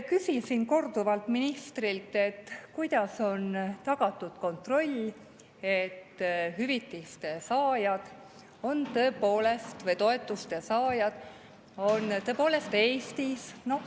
Küsisin ministrilt korduvalt, kuidas on tagatud kontroll, et toetuste saajad on tõepoolest Eestis.